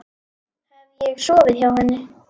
Hef ég sofið hjá henni?